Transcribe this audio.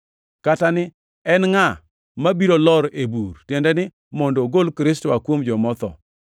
“kata ni, ‘En ngʼa mabiro lor ei bur?’ ”+ 10:7 \+xt Rap 30:13\+xt* (tiende ni, mondo ogol Kristo oa kuom joma otho).